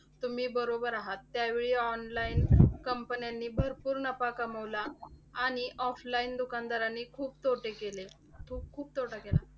तुम्ही बरोबर आहात. त्यावेळी online companies नी भरपूर नफा कमवला. आणि offline दुकानदारांनी खूप तोटे केले, खूप खूप तोटा केला.